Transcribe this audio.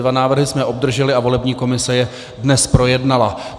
Dva návrhy jsme obdrželi a volební komise je dnes projednala.